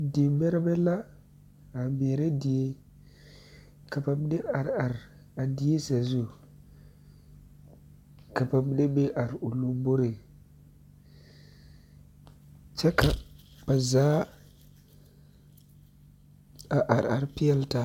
Dimɛrɛbɛ la a meɛ die ka ba mine are are a die sazu ka ba mine be a o lamboriŋ kyɛ ka ba zaa a are are peɛle taa